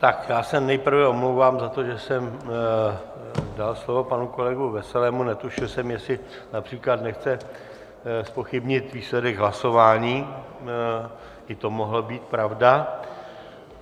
Tak já se nejprve omlouvám za to, že jsem dal slovo panu kolegovi Veselému, netušil jsem, jestli například nechce zpochybnit výsledek hlasování, i to mohla být pravda.